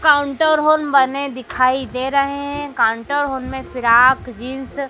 Counter hall बने दिखाई दे रहे हैं काउंटर हॉल में फ्रॉक जींस ।